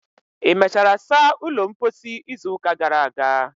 ị mechara saa ulo mposi izu ụka gara aga?